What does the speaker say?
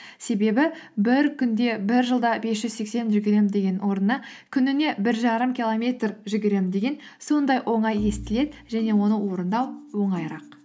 себебі бір күнде бір жылда бес жүз сексен жүгіремін деген орнына күніне бір жарым километр жүгіремін деген сондай оңай естіледі және оны орындау оңайырақ